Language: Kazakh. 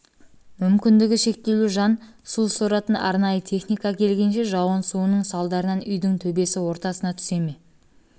мүмкіндігі шектеулі жан су соратын арнайы техника келгенше жауын суының салдарынан үйдің төбесі ортасына түсе ме